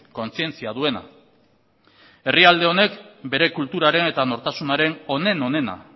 kontzientzia duena herrialde honek bere kulturaren eta nortasunaren onen onena